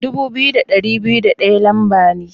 Dubu biyu da dari biyu da daya lamba ne.